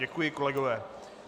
Děkuji, kolegové.